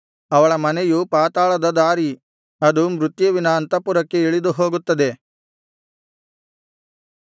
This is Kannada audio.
ಅವಳ ಮನೆಯು ಪಾತಾಳದ ದಾರಿ ಅದು ಮೃತ್ಯುವಿನ ಅಂತಃಪುರಕ್ಕೆ ಇಳಿದುಹೋಗುತ್ತದೆ